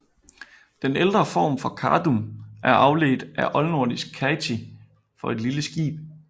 Den ældre form Kadum er afledt af oldnordisk kati for et lille skib